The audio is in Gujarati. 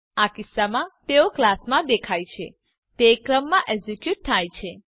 આ કિસ્સામાં તેઓ ક્લાસમાં દેખાય છે તે ક્રમમાં એક્ઝીક્યુટ થાય છે